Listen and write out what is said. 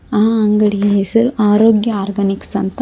ಆ ಅಂಗಡಿಯ ಹೆಸರು ಅರೋಗ್ಯ ಆರ್ಗಾನಿಕ್ಸ್ ಅಂತ--